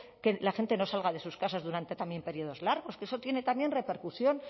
que la gente no salga de sus casas durante también periodos largos que eso tiene también repercusión